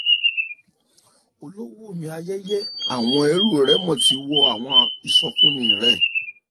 olówó miayeye awọn ẹ̀rù rẹmo ti wo àwọn ìsọfúnni rẹ